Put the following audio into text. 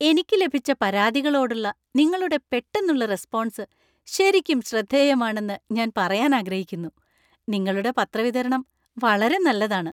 എനിക്ക് ലഭിച്ച പരാതികളോടുള്ള നിങ്ങളുടെ പെട്ടെന്നുള്ള റെസ്‌പോൺസ് ശരിക്കും ശ്രദ്ധേയമാണെന്ന് ഞാൻ പറയാൻ ആഗ്രഹിക്കുന്നു. നിങ്ങളുടെ പത്ര വിതരണം വളരെ നല്ലതാണ്..